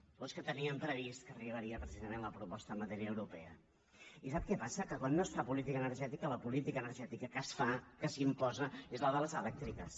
o és que tenien previst que arribaria precisament la proposta en matèria europea i sap què passa que quan no es fa política energètica la política energètica que es fa que s’imposa és la de les elèctriques